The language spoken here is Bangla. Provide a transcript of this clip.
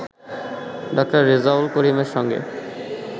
ডা. রেজাউল করিমের সঙ্গে